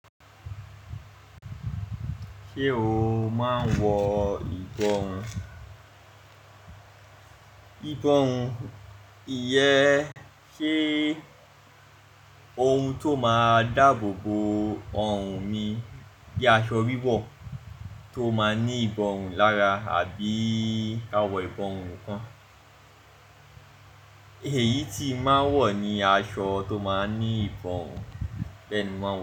Ṣé o máa ń wọ ìborun? Ìborun jẹ sé ohun tó máa dáàbò bo ọrùn mi bíi aṣọ wíwọ̀ tó máa ní ìborun lára àbí kawọ ìborun kan. Èyí tí mo máa ń wọ̀ ni aṣọ tó máa ń ní ìbórun bẹ́ẹ̀ ni mo máa ń wọ̀